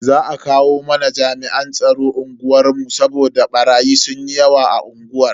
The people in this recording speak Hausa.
Za a kawo mana jami'an tsaro unguwar mu saboda barayi sunyi yawa a unguwar.